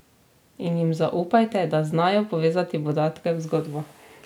In jim zaupajte, da znajo povezati podatke v zgodbo.